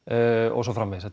og svo framvegis